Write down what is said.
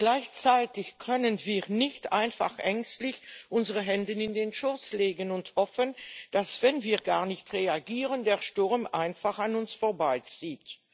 Gleichzeitig können wir nicht einfach ängstlich unsere Hände in den Schoß legen und hoffen, dass, wenn wir gar nicht reagieren, der Sturm einfach an uns vorbeizieht.